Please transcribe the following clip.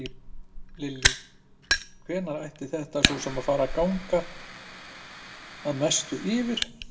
Lillý: Hvenær ætti þetta svona að fara að ganga að mestu yfir?